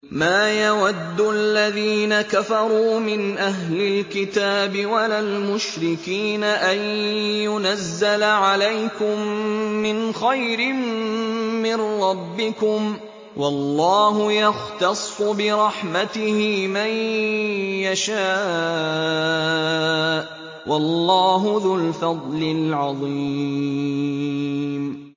مَّا يَوَدُّ الَّذِينَ كَفَرُوا مِنْ أَهْلِ الْكِتَابِ وَلَا الْمُشْرِكِينَ أَن يُنَزَّلَ عَلَيْكُم مِّنْ خَيْرٍ مِّن رَّبِّكُمْ ۗ وَاللَّهُ يَخْتَصُّ بِرَحْمَتِهِ مَن يَشَاءُ ۚ وَاللَّهُ ذُو الْفَضْلِ الْعَظِيمِ